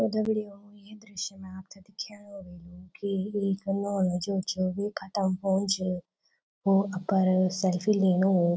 और दग्डियों ये दृश्य मा आपथे दिखेणु ह्वलू की एक नौनु जो च वेक हथम् फोन च वो अपर सेल्फी ल्हीणूं।